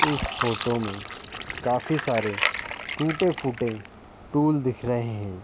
इस फोटो में काफी सारे टूटे-फूटे टूल दिख रहे हैं।